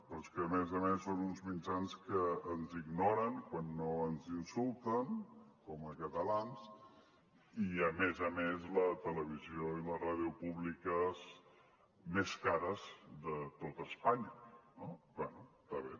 però és que a més a més són uns mitjans que ens ignoren quan no ens insulten com a catalans i a més a més la televisió i la ràdio públiques més cares de tot espanya no bé està bé